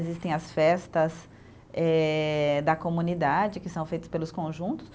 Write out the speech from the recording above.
Existem as festas eh, da comunidade, que são feitas pelos conjuntos.